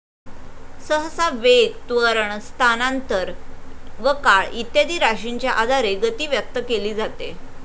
सहसा वेग, त्वरण, स्थानांतर व काळ इत्यादी राशींच्या आधारे गती व्यक्त केली जाते.